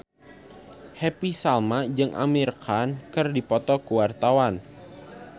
Happy Salma jeung Amir Khan keur dipoto ku wartawan